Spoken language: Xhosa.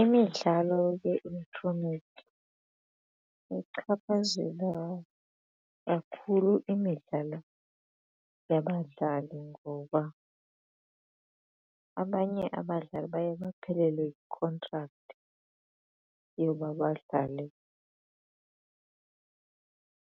Imidlalo ye-elektroniki ichaphazela kakhulu imidlalo yabadlali ngoba abanye abadlali baye baphelelwe yi-contract yoba badlale